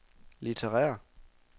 litterære